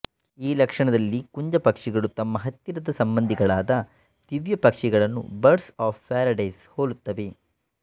ಈ ಲಕ್ಷಣದಲ್ಲಿ ಕುಂಜಪಕ್ಷಿಗಳು ತಮ್ಮ ಹತ್ತಿರದ ಸಂಬಂಧಿಗಳಾದ ದಿವ್ಯಪಕ್ಷಿಗಳನ್ನು ಬಡ್ರ್ಸ್ ಅಫ್ ಪ್ಯಾರಡೈಸ್ ಹೋಲುತ್ತವೆ